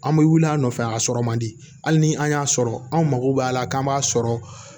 An bɛ wuli an nɔfɛ a sɔrɔ man di hali ni an y'a sɔrɔ an mako b'a la k'an b'a sɔrɔ